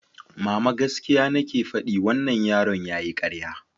Mama, gaskiya nake faɗi, wannan yaron yayi ƙarya.